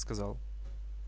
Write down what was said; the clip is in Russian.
сказал